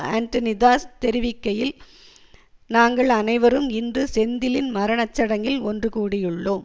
Antony Das தெரிவிக்கையில் நாங்கள் அனைவரும் இன்று செந்திலின் மரண சடங்கில் ஒன்று கூடியுள்ளோம்